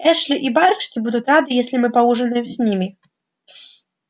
эшли и барышни будут рады если мы поужинаем с ними